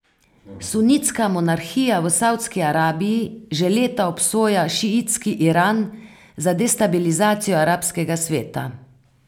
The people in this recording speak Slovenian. Sunitska monarhija v Savdski Arabiji že leta obsoja šiitski Iran za destabilizacijo arabskega sveta.